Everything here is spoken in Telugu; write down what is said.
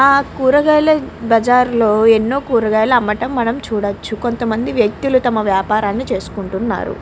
ఇక్కడ కూరగాయల బజార్ లో ఎన్నో కూరగాయలు అమ్మటం మనం చూడవచ్చు కొంత మంది వ్యక్తులు తమ వ్యాపారం చేసుకుంటున్నారు.